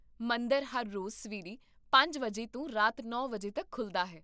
ਮੰਦਰ ਹਰ ਰੋਜ਼ ਸਵੇਰੇ ਪੰਜ ਵਜੇ ਤੋਂ ਰਾਤ ਨੌ ਵਜੇ ਤੱਕ ਖੁੱਲ੍ਹਦਾ ਹੈ